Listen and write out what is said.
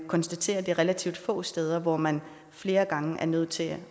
konstateret at det er relativt få steder hvor man flere gange er nødt til